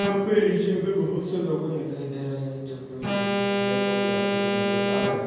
यहाँ पे एशिया का बहुत-सा लॉग-ऑन दिखाई दे रहा है जो की उस झंडे को गिराते हुए नजर आ रहे।